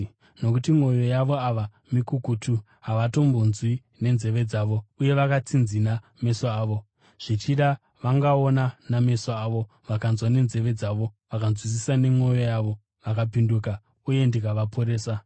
Nokuti mwoyo yavanhu ava mikukutu, havatombonzwi nenzeve dzavo, uye vakatsinzina meso avo. Zvichida vangaona nameso avo, vakanzwa nenzeve dzavo, vakanzwisisa nemwoyo yavo, vakapinduka, uye ndikavaporesa.’